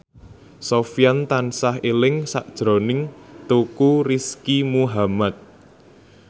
Sofyan tansah eling sakjroning Teuku Rizky Muhammad